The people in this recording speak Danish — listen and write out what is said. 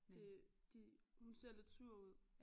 Det de hun ser lidt sur ud